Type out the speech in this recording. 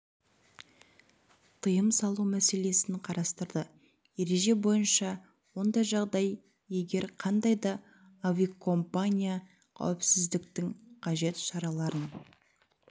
тыйым салу мәселесін қарастырды ереже бойынша ондай жағдай егер қандай да авиакомпания қауіпсіздіктің қажет шараларын